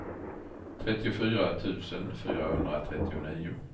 trettiofyra tusen fyrahundratrettionio